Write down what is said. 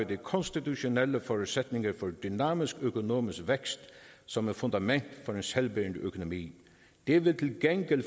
de konstitutionelle forudsætninger for dynamisk økonomisk vækst som er fundament for en selvbærende økonomi det vil til gengæld